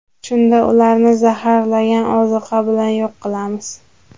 Shunda ularni zaharlangan oziqa bilan yo‘q qilamiz.